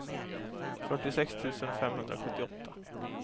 fyrtiosex tusen femhundrasjuttioåtta